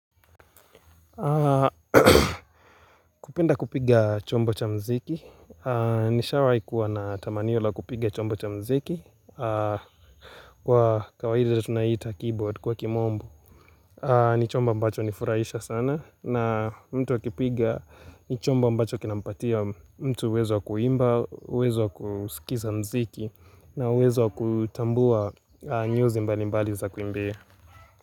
Kupenda kupiga chombo cha mziki Nishawai kuwa na tamanio la kupiga chombo cha mziki Kwa kawaida tunaita keyboard kwa kimombo ni chombo mbacho hunifurahisha sana na mtu akipiga ni chombo mbacho kinampatia mtu uwezo wa kuimba, uwezo wa kusikiza mziki na wezo kutambua nyuzi mbali mbali za kuimbia.